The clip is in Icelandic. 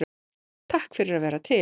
Takk fyrir að vera til.